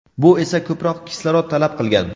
bu esa ko‘proq kislorod talab qilgan.